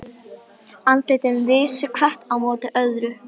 Andlitin vissu hvert á móti öðru.